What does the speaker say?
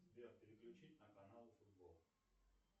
сбер переключить на канал футбол